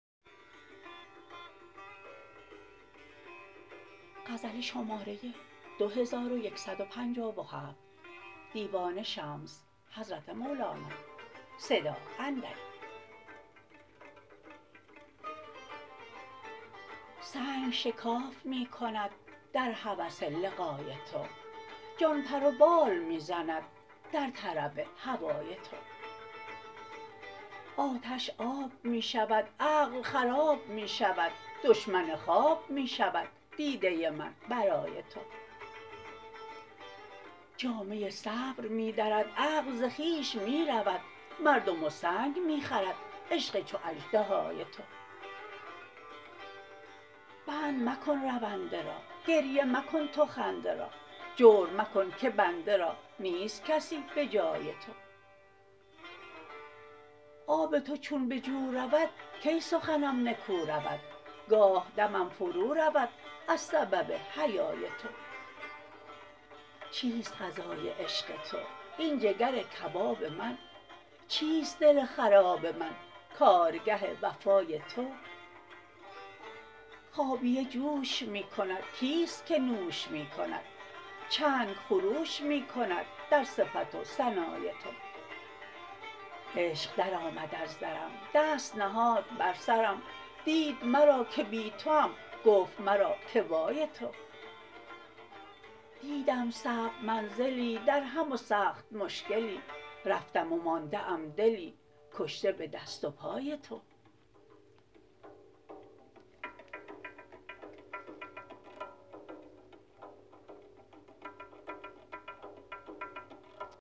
سنگ شکاف می کند در هوس لقای تو جان پر و بال می زند در طرب هوای تو آتش آب می شود عقل خراب می شود دشمن خواب می شود دیده من برای تو جامه صبر می درد عقل ز خویش می رود مردم و سنگ می خورد عشق چو اژدهای تو بند مکن رونده را گریه مکن تو خنده را جور مکن که بنده را نیست کسی به جای تو آب تو چون به جو رود کی سخنم نکو رود گاه دمم فرودرد از سبب حیای تو چیست غذای عشق تو این جگر کباب من چیست دل خراب من کارگه وفای تو خابیه جوش می کند کیست که نوش می کند چنگ خروش می کند در صفت و ثنای تو عشق درآمد از درم دست نهاد بر سرم دید مرا که بی توام گفت مرا که وای تو دیدم صعب منزلی درهم و سخت مشکلی رفتم و مانده ام دلی کشته به دست و پای تو